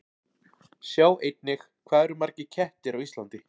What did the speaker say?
Sjá einnig: Hvað eru margir kettir á Íslandi?